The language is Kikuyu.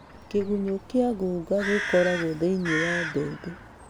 Kĩgunyũ kĩa ngũnga cikoragwo thĩiniĩ wa mbembe.